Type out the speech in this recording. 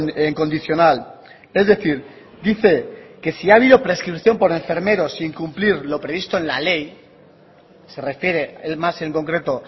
en condicional es decir dice que si ha habido prescripción por enfermeros sin cumplir lo previsto en la ley se refiere él más en concreto